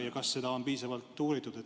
Ja kas seda on piisavalt uuritud?